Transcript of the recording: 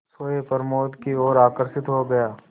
सोए प्रमोद की ओर आकर्षित हो गया